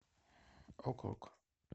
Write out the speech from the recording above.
ок ок